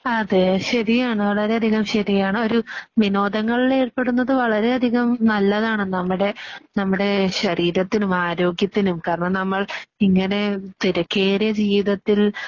അതെ. ശരിയാണ് വളരെയധികം ശരിയാണ്. ഒരു വിനോദങ്ങളിലേർപ്പെടുന്നത് വളരെയധികം നല്ലതാണ് നമ്മുടെ ആ നമ്മുടെ ശരീരത്തിനും ആരോഗ്യത്തിനും കാരണം നമ്മൾ ഇങ്ങനെ തിരക്കേറിയ ജീവിതത്തിൽ